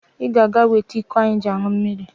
Ị ga-aga wete iko anyị ji aṅụ mmiri.